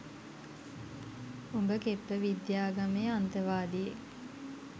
උඹ කෙප්ප විද්‍යාගමේ අන්තවාදියෙක්